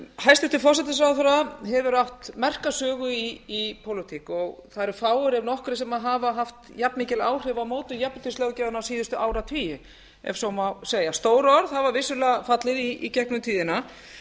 hæstvirtur forsætisráðherra hefur átt merka sögu í pólitík og það eru fáir ef nokkrir sem hafa haft jafnmikil áhrif á mótun jafnréttislöggjafarinnar síðustu áratugi ef svo má segja stór orð hafa vissulega fallið í gegnum tíðina